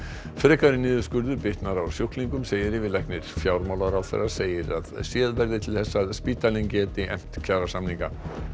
frekari niðurskurður bitnar á sjúklingum segir yfirlæknir fjármálaráðherra segir að séð verði til þess að spítalinn geti efnt kjarasamninga